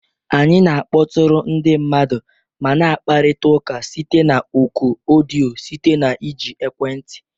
Anyị na-akpọtụrụ ndị mmadụ ma na-akparịta ụka site na oku odiyo site na iji ekwentị